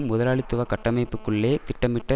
முதலாளித்துவகட்டமைப்புக்குள்ளே திட்டமிட்ட